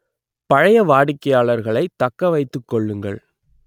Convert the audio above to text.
பழைய வாடிக்கையாளர்களை தக்க வைத்துக் கொள்ளுங்கள்